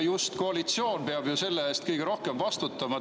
Just koalitsioon peab selle eest kõige rohkem vastutama.